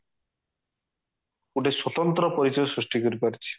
ଗୋଟେ ସ୍ଵତନ୍ତ୍ର ପରିଚୟ ସୃଷ୍ଟି କରିପାରିଚି